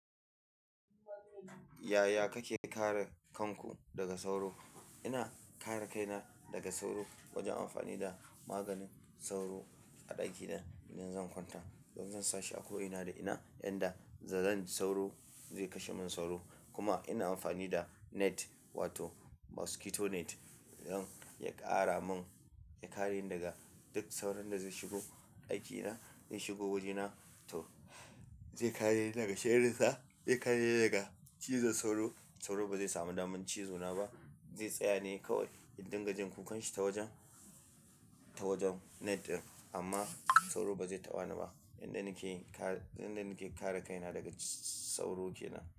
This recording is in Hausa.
Yaya kake kare kanku daga sauro? Ina kare kaina daga sauro wajen amfani da maganin sauro a ɗaki da idan zan kwanta. Don zansashi a ko ina da ina yanda da zan ji sauro zai kashe min sauro. Kuma ina amfani da net wato mosquito net don ya ƙara min, ya kare ni daga duk sauran da zai shigo ɗakina, zai shigo wajena to zai kare ni daga shairin sa, zai kare ni daga cizon sauro. Sauro ba zai samu damar cizo na ba, zai tsaya ne kawai idunga jin kukan shi ta wajen, ta wajen net ɗin amma sauro ba zai taɓa ni ba. Yanda nake kare, yanda nake kare kaina daga sauro ke nan.